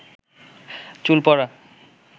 চুল পড়া